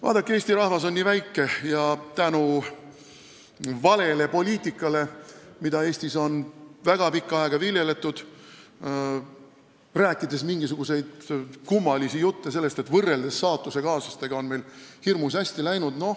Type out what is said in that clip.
Vaadake, eesti rahvas on nii väike ja Eestis on väga pikka aega viljeletud vale poliitikat, kui on räägitud mingisuguseid kummalisi jutte sellest, et võrreldes saatusekaaslastega on meil hirmus hästi läinud.